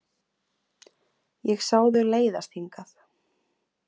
Ég sá þau leiðast hingað.